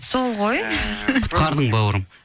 сол ғой құтқардың бауырым